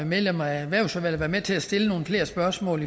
medlemmer af erhvervsudvalget med til at stille nogle flere spørgsmål